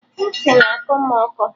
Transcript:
Ntị na-akọ mụ ụkọ